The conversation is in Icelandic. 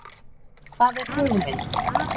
Hvað er hugmynd?